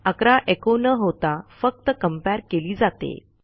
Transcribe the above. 11एको न होता फक्त कंपेअर केली जाते